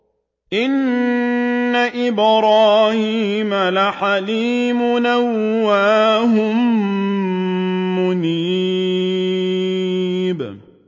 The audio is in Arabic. إِنَّ إِبْرَاهِيمَ لَحَلِيمٌ أَوَّاهٌ مُّنِيبٌ